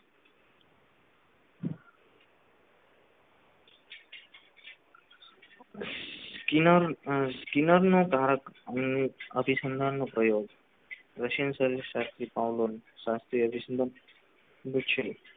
કિનાર કિનાર નો કારક નો અભી સંધાન નો પ્રયોગ russian service શાસ્ત્રી પાવલોન બિચનો